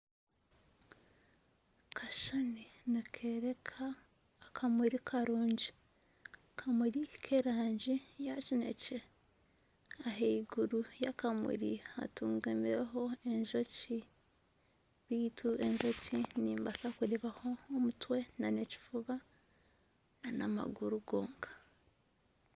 Akashushani nikoreeka akamuri karungi, akamuri k'erangi ya kineekye, ahaiguru y'akamuri hatungamireho enjoki, baitu enjoki nimbaasa kureebaho omutwe nana ekifuba nana amaguru gonka